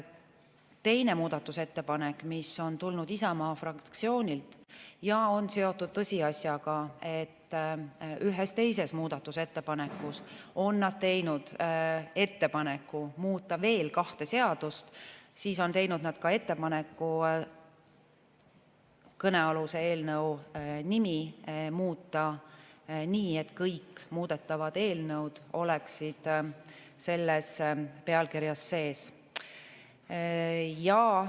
Teine muudatusettepanek on tulnud Isamaa fraktsioonilt ja see on seotud tõsiasjaga, et ühes teises muudatusettepanekus on nad teinud ettepaneku muuta veel kahte seadust, ning veel on nad teinud ettepaneku kõnealuse eelnõu nime muuta nii, et kõik muudetavad eelnõud oleksid pealkirjas sees.